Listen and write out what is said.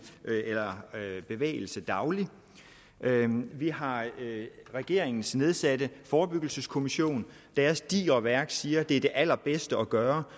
eller bevægelse dagligt vi har regeringens nedsatte forebyggelseskommission dens digre værk siger at det er det allerbedste at gøre